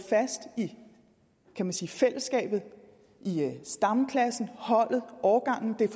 fast i i fællesskabet stamklassen holdet årgangen det er